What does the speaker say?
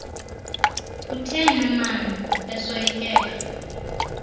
utheni maan esoyikeka